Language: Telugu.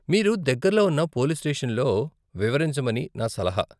మీరు దగ్గరలో ఉన్న పోలీస్ స్టేషన్లో వివరించమని నా సలహా.